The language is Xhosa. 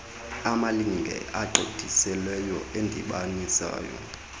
amalinge agqithiseleyo endibaniso